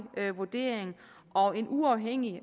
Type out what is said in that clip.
vurdering og en uafhængig